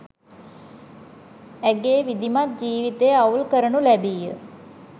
ඇගේ විධිමත් ජීවිතය අවුල් කරනු ලැබීය